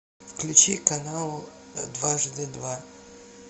включи канал дважды два